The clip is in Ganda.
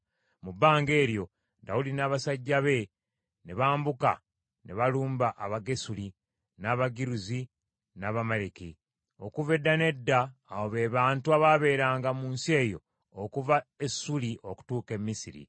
Mu bbanga eryo, Dawudi n’abasajja be ne bambuka ne balumba Abagesuli, n’Abagiruzi, n’Abamaleki. Okuva edda n’edda abo be bantu abaabeeranga mu nsi eyo okuva e Suuli okutuuka e Misiri.